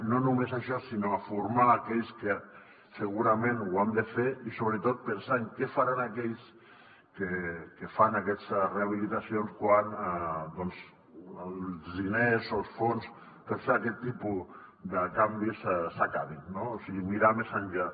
no només a això sinó a formar aquells que segurament ho han de fer i sobretot pensar en què faran aquells que fan aquestes rehabilitacions quan els diners o el fons per fer aquest tipus de canvis s’acabin no o sigui mirar més enllà